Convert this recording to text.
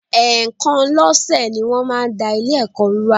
Ẹ̀ẹ̀kan lọ́sẹ̀ ni wọ́n máa ń da Ilé-ẹ̀kọ́ rú wa